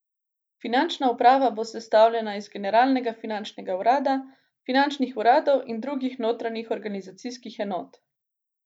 Finančna uprava bo sestavljena iz Generalnega finančnega urada, finančnih uradov in drugih notranjih organizacijskih enot.